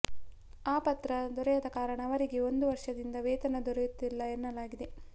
ಆ ಪತ್ರ ದೊರೆಯದ ಕಾರಣ ಅವರಿಗೆ ಒಂದು ವರ್ಷದಿಂದ ವೇತನ ದೊರೆಯುತ್ತಿಲ್ಲ ಎನ್ನಲಾಗಿದೆ